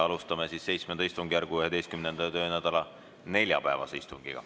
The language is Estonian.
Alustame siis VII istungjärgu 11. töönädala neljapäevast istungit.